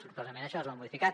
sortosament això es va modificar